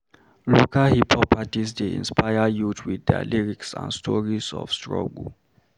Local hip-hop artists dey inspire youth with their lyrics and stories of struggle.